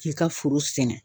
K'i ka foro sɛnɛ